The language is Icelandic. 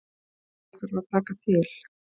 Hér þarf að taka til.